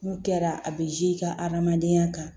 N'u kɛra a bɛ ka hadamadenya kan